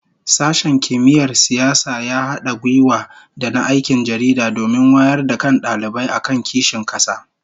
Sashen Kimiyyar Siyasa ya hada gwiwa da na Aikin Jaridah domin wayar da kan dalibai akan kishin kasa